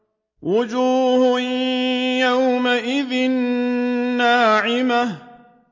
وُجُوهٌ يَوْمَئِذٍ نَّاعِمَةٌ